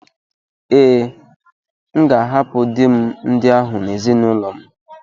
Ee, M ga-ahapụ di m ndị ahụ na ezinụlọ m.